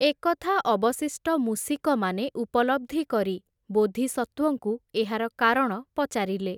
ଏକଥା ଅବଶିଷ୍ଟ ମୂଷିକମାନେ ଉପଲବ୍ଧି କରି, ବୋଧିସତ୍ତ୍ଵଙ୍କୁ ଏହାର କାରଣ ପଚାରିଲେ ।